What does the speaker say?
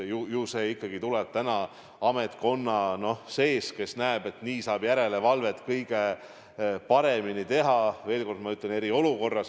Ju see soov ikkagi tuleb ametkonna seest, kes näeb, et nii saab järelevalvet eriolukorras – ma veel kord toonitan – kõige paremini teha.